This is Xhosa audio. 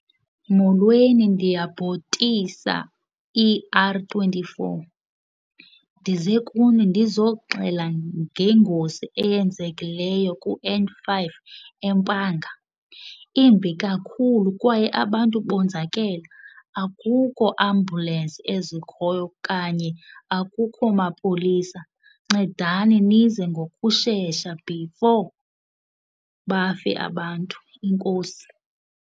Molweni, ndiyabhotisa, E_R twenty-four. Ndize kuni ndizoxela ngengozi eyenzekileyo ku-N five eMpanga. Imbi kakhulu kwaye abantu bonzakele, akukho ambhulensi ezikhoyo kanye akukho mapolisa. Ncedani nize ngokushesha before bafe abantu, enkosi.